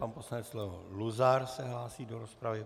Pan poslanec Leo Luzar se hlásí do rozpravy.